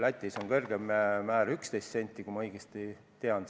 Lätis on kõrgeim määr 11 senti, kui ma õigesti mäletan.